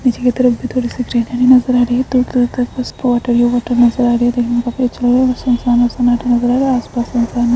पीछे की तरफ से थोड़ी सी ग्रीनरी नज़र आ रही है दूर-दूर तक उस नज़र आ रही देखने मे काफी अच्छा लग रहा है सुनसान और सनाटा नज़र आर रहा आसपास बहुत सारे --